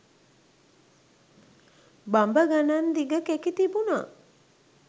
බඹ ගණං දිග කෙකි තිබුණා